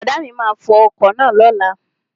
Brọ̀dá mi máa fo ọkọ̀ náà lóla